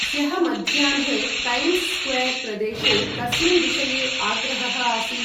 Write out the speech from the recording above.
ह्यः मध्याह्ने Times Square प्रदेशे, कस्मिन् विषये आग्रहः आसीत् ।